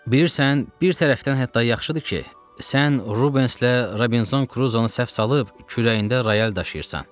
Bilirsən, bir tərəfdən hətta yaxşıdır ki, sən Rubenslə Robinzon Kruzunu səhv salıb kürəyində rayal daşıyırsan.